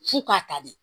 F'u k'a ta de